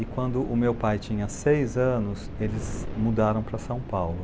E quando o meu pai tinha seis anos, eles mudaram para São Paulo.